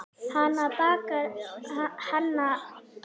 Hanna bakar pönnukökur með þeyttum rjóma og sultu.